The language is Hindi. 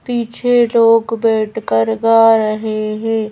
पीछे लोग बैठ कर गा रहे हैं।